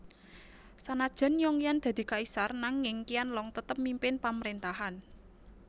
Sanajan Yongyan dadi kaisar nanging Qianlong tetep mimpin pamrentahan